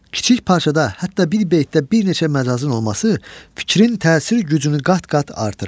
Kiçik parçada, hətta bir beytdə bir neçə məcazın olması fikrin təsir gücünü qat-qat artırır.